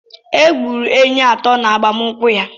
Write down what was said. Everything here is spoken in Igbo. E gburu ehi atọ n’agbamnkwu ya